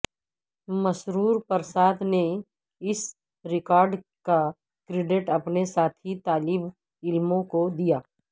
مسرور پرساد نے اس ریکارڈ کا کریڈٹ اپنے ساتھی طالب علموں کو دیا